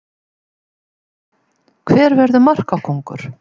Spurning dagsins: Hver verður markakóngur?